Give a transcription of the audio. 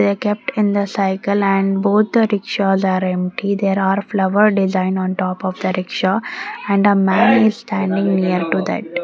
they kept in the cycle and both rikshaws are empty there are flower design on top of the rikshaw and a man is standing near to that.